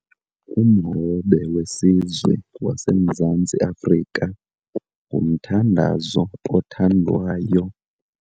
Umhobe wesizwe waseMzantsi Afrika ngumthandazo othandwayo.